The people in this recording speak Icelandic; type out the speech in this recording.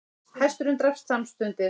Hesturinn drapst samstundis